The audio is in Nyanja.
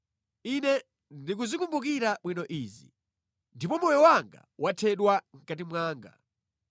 Ine ndikuzikumbukira bwino izi, ndipo moyo wanga wathedwa mʼkati mwanga.